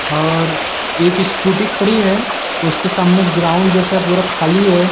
और एक स्कूटी खड़ी है उसके सामने ग्राउंड जैसा पूरा खाली है।